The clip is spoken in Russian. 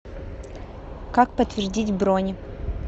как подтвердить бронь